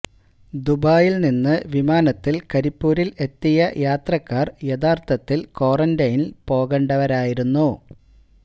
ദുബായിൽ നിന്ന് വിമാനത്തിൽ കരിപ്പൂരിൽ എത്തിയ യാത്രക്കാർ യഥാർത്ഥത്തിൽ ക്വാറൻ്റെെനിൽ പോകേണ്ടവരായിരുന്നു